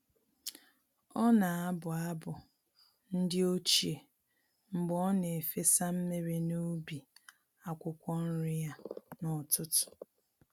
Ọ na-abụ abụ ndi ochie mgbe ọ na-efesa mmiri n’ubi akwukwo nri ya n’ụtụtụ.